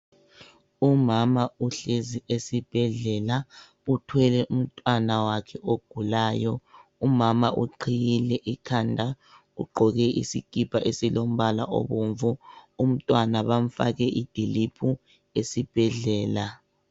Umama uhlezi esibhedlela uthwele umntwana wakhe ogulayo. Umama uqhiyile ikhanda ugqoke isikipa esilombala obomvu. Umntwana bamfake idiliphu esibhedlela.